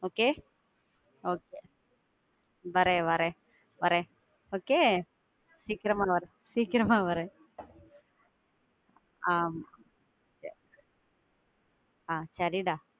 Okay okay. வரேன், வரேன், வரேன். Okay? சீக்கிரமா, சீக்கிரமா வரேன். ஆஹ் ஆஹ் சரிடா.